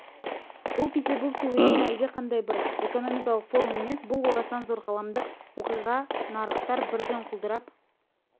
бұл петербургте өткен әлдеқандай бір экономикалық форум емес бұл орасан зор ғаламдық оқиға нарықтар бірден құлдырап